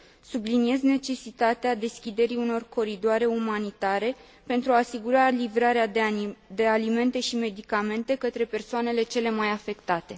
Subliniez necesitatea deschiderii unor coridoare umanitare pentru a asigura livrarea de alimente și medicamente către persoanele cele mai afectate.